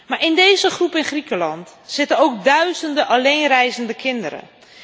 Maar in deze groep in Griekenland zitten ook duizenden alleenreizende kinderen.